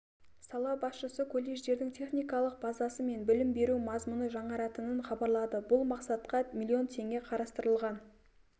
сала басшысы колледждердің техникалық базасы мен білім беру мазмұны жаңаратынын хабарлады бұл мақсатқа миллион теңге қарастырылған